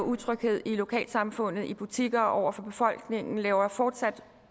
utryghed i lokalsamfundet i butikker og over for befolkningen og laver fortsat